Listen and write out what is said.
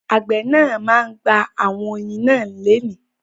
Àgbẹ̀ náà ma gba àwọn oyin náà lénìí.